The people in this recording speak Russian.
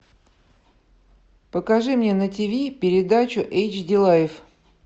покажи мне на ти ви передачу эйч ди лайф